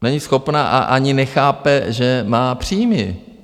není schopna a ani nechápe, že má příjmy.